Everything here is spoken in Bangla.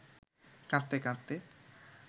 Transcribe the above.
কাঁদতে কাঁদতে